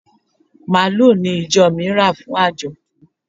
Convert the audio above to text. Màlúù ni ìjọ mi rà fún àjọ̀dún.